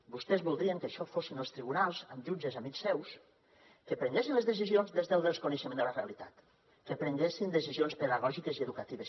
vostès voldrien que això fossin els tribunals amb jutges amics seus que prenguessin les decisions des del desconeixement de la realitat que prenguessin decisions pedagògiques i educatives